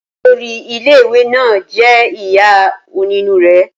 Olórí ilé ìwé náà jẹ́ ìyá onínúre